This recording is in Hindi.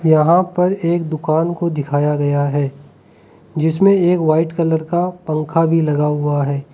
यहां पर एक दुकान को दिखाया गया है जिसमें एक वाइट कलर का कभी लगा हुआ है।